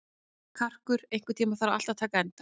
Karkur, einhvern tímann þarf allt að taka enda.